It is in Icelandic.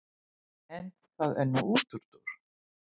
En það er nú útúrdúr.